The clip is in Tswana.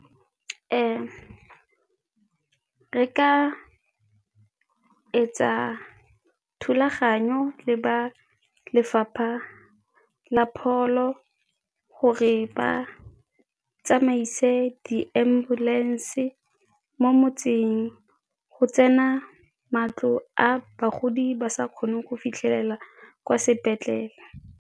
Ee, re ka etsa thulaganyo le ba lefapha la pholo gore ba tsamaise di-ambulance mo motseng go tsena matlo a bagodi ba sa kgoneng go fitlhelela kwa sepetlele.